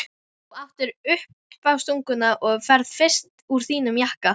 Þú áttir uppástunguna og ferð fyrst úr þínum jakka.